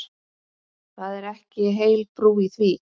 Það er ekki heil brú í því.